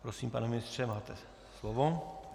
Prosím, pane ministře, máte slovo.